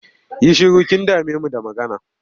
Yi shiru! Kin dame mu da magana.